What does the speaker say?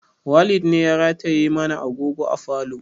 Walid ne ya rataye mana agogo a falo